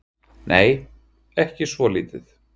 Nei, ekki svolítið.